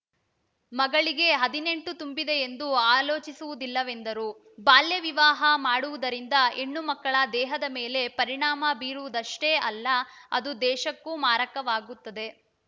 ಮಗಳಿಗೆ ಹದಿನೆಂಟು ತುಂಬಿದೆಯೆಂದು ಆಲೋಚಿಸುವುದಿಲ್ಲವೆಂದರು ಬಾಲ್ಯವಿವಾಹ ಮಾಡುವುದರಿಂದ ಹೆಣ್ಣು ಮಕ್ಕಳ ದೇಹದ ಮೇಲೆ ಪರಿಣಾಮ ಬೀರುವುದಷ್ಟೇ ಅಲ್ಲ ಅದು ದೇಶಕ್ಕೂ ಮಾರಕವಾಗುತ್ತದೆ